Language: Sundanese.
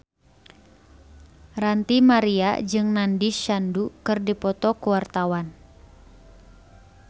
Ranty Maria jeung Nandish Sandhu keur dipoto ku wartawan